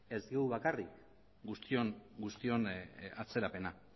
ez gu bakarrik guztion atzerapena